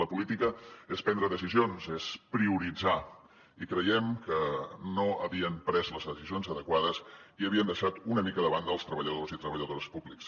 la política és prendre decisions és prioritzar i creiem que no havien pres les decisions adequades i havien deixat una mica de banda els treballadors i treballadores públics